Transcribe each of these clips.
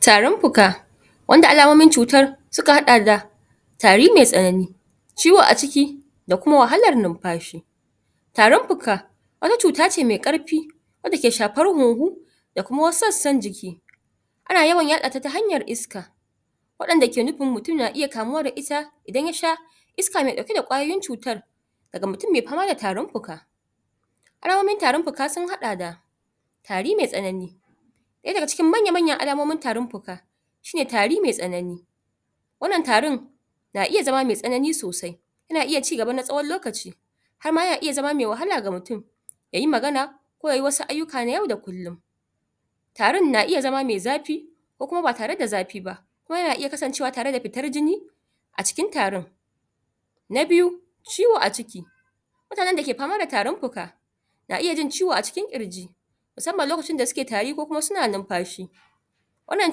tarin fuka wanda alamomin cutar suka hada da tari mai tsanani ciwo aciki da kuma wahalar numfashi tarin fuka wani cuta ce mai karfi da take shafar huhu da kuma wasu sassan jiki ana yawan yadata ta hanyar iska wadanda ke nufin mutum na iya kamuwa da ita idan yasha iska na dauke da kwayar cutar daga mutum mai fama daga tarin fuka alamomin tarin fuka sun hada da tari mai tsanani ɗaya daga cikin manyan manyan alamomin tarin fuka shine tari mai tsanani wannan tarin na iya zama mai tsanani sosai yana iya cigaba na tsawon lokaci harma yana iya zama mai wahala ga mutum ya yi magana ko yayi wasu ayyuka na yau da kullum tarin na iya zama mai zafi ko kuma ba tare da zafi ba ko yana iya kasan cewa da fitar jini acikin tarin na biyu ciwo a jiki mutanen da ke fama da tarin fuka na iya jin ciwo acikin ƙirji musamman lokacin suna tari ko suna numfashi wannan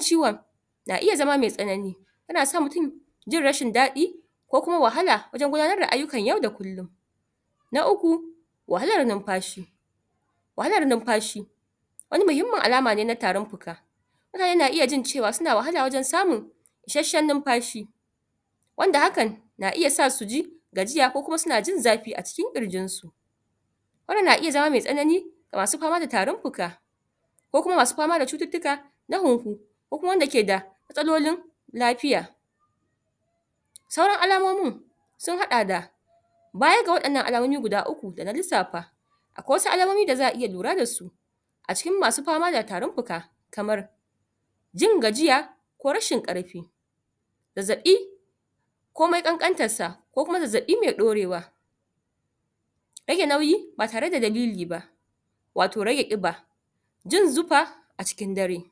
ciwon na iya zama mai tsanani yana sa mutum jin rashin da daɗi ko kuma wahala wajen gudanar da ayyunkan yau da kullum na uku wahalar numfashi wahalar numfashi wani muhimmin alama ne na tarin fuka kuma yana iya jin wahala wajen samun ishashshen numfashi wanda hakan na iya sa suji gajiya ko suna jin zafi acikin ƙirjin su wannan na iya jawo mai tsanani masu fama da tarin fuka ko kuma masu fama da cuttuka? ko kuma wanda ke matsalolin lafiya sauran alamonin sun haɗa da baya ga wadanan alamomin da na lissafa akwai wasu alamomin da zaa iya lura dasu acikin masu fama da tarin fuka kamar jin gajiya ko rashin karfi zazzaɓi komai kankantarsa ko kuma zazzabi mai ɗaurewa rage nauyi ba tare da dalili ba wato rage ƙiba jin zufa acikin dare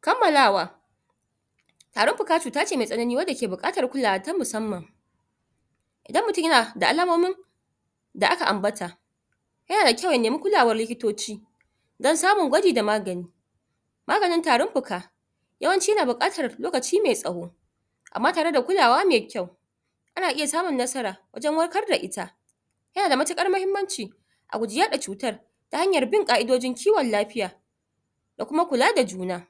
kammalawa tarin fuka cuta ce mai tsanani wace ke butar kulawa ta musamman idan mutum yana da alamomin da aka ambata yana da kyau ya nema kulawar likitoci don samun gwaji da magani maganin tarin fuka yawan ci na bukatar lokaci mai tsawo amma da kulawa mai kyau ana iya samun nasara wajen warkar da ita yana da matukar muhimmanci a guji yada cutar ta hanyar bin ƙaidojin kiwon lafiya da kuma kula da juna